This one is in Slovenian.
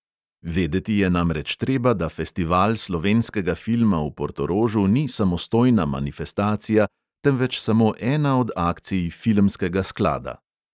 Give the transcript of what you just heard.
Vedeti je namreč treba, da festival slovenskega filma v portorožu ni samostojna manifestacija, temveč samo ena od akcij filmskega sklada.